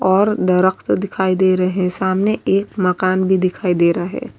اور درخت دکھائی دے رہے، سامنے ایک مکان بھی دکھائی دے رہا ہے۔